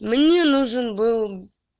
мне нужен был